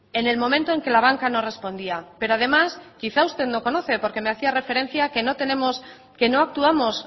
en el momento en que la banca no respondía pero además quizá usted no conoce porque me hacía referencia que no tenemos que no actuamos